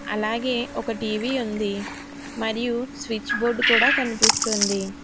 అలాగే ఒక టీవీ ఉంది మరియు స్విచ్ బోర్డు కూడా కనిపిస్తుంది.